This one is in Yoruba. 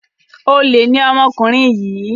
Olè ni ọmọkùnrin yìí.